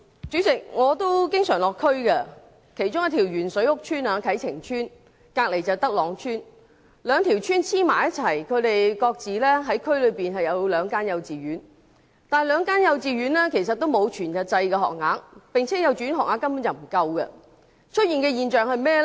主席，我經常到地區，其中一條鉛水屋邨啟晴邨，以及旁邊的德朗邨，兩條邨是相連的，各自設有兩間幼稚園，但兩間幼稚園都沒有全日制學額，而且學額根本不足夠。